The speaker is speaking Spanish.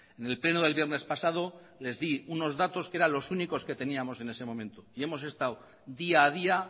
en el pleno del viernes pasado les di unos datos que eran los únicos que teníamos en ese momento y hemos estado día a día